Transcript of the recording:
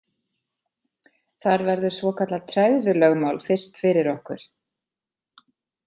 Þar verður svokallað tregðulögmál fyrst fyrir okkur.